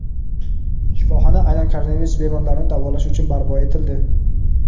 shifoxona aynan koronavirus bemorlarini davolash uchun barpo etildi.